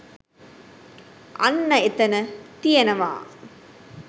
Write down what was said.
අන්න එතන තියෙනවා